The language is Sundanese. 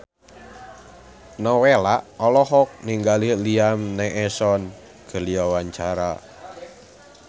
Nowela olohok ningali Liam Neeson keur diwawancara